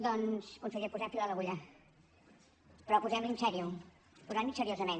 doncs conseller posem fil a l’agulla però posem l’hi en serio posem l’hi seriosament